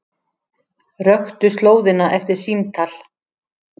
Röktu slóðina eftir símtal